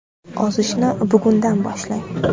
Ozishni bugundan boshlang!.